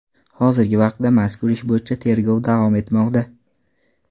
Hozirgi vaqtda mazkur ish bo‘yicha tergov davom etmoqda.